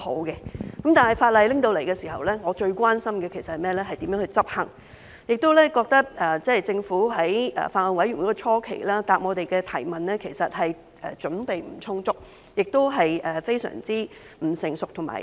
不過，在《條例草案》提交時，我最關心的其實是如何執行，而在法案委員會會議初期，我亦感到政府在回答我們的質詢上其實準備不充足，亦非常不成熟和草率。